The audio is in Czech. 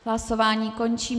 Hlasování končím.